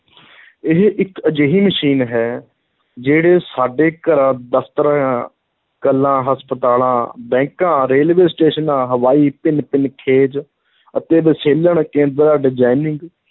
ਇਹ ਇੱਕ ਅਜਿਹੀ ਮਸ਼ੀਨ ਹੈ, ਜਿਹੜੇ ਸਾਡੇ ਘਰਾਂ, ਦਫ਼ਤਰਾਂ, ਕਲਾਂ, ਹਸਪਤਾਲਾਂ, ਬੈਂਕਾਂ, ਰੇਲਵੇ ਸਟੇਸ਼ਨਾਂ, ਹਵਾਈ ਭਿੰਨ-ਭਿੰਨ ਖੇਜ ਅਤੇ ਵਿਸ਼ਲੇਸ਼ਣ ਕੇਂਦਰਾਂ designing